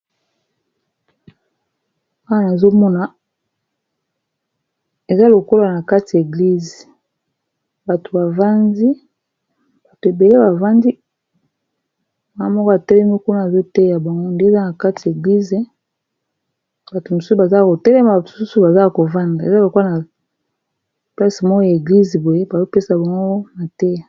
awa nazomona eza lokola na kati ya eglize bato ebele bavandi maa moko atelemi kuna azoteya bango nde eza na kati ya eglize bato mosusu baza kotelema bato susu bazaa kovanda eza lokola na plase moo ya eglize boye bazopesa bamoko na te